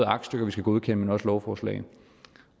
aktstykker vi skal godkende men også lovforslag